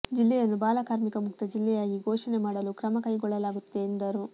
ಜಿಲ್ಲೆಯನ್ನು ಬಾಲ ಕಾರ್ಮಿಕ ಮುಕ್ತ ಜಿಲ್ಲೆಯಾಗಿ ಘೋಷಣೆ ಮಾಡಲು ಕ್ರಮ ಕೈ ಗೊಳ್ಳಲಾಗುತ್ತಿದೆ ಎಂದರು